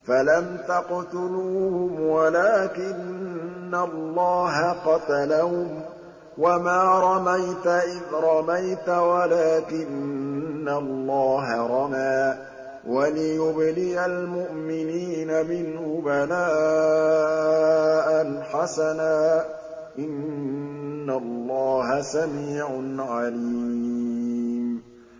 فَلَمْ تَقْتُلُوهُمْ وَلَٰكِنَّ اللَّهَ قَتَلَهُمْ ۚ وَمَا رَمَيْتَ إِذْ رَمَيْتَ وَلَٰكِنَّ اللَّهَ رَمَىٰ ۚ وَلِيُبْلِيَ الْمُؤْمِنِينَ مِنْهُ بَلَاءً حَسَنًا ۚ إِنَّ اللَّهَ سَمِيعٌ عَلِيمٌ